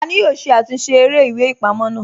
Tani yoo ṣe àtúnsẹ̀ èrè ìwé-ìpamọ́ naa?